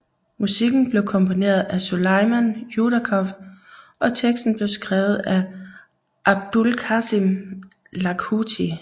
Musikken blev komponeret af Suleiman Yudakov og teksten blev skrevet af Abulkasim Lakhuti